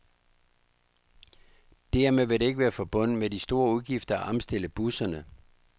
Dermed vil det ikke være forbundet med de store udgifter at omstille busserne.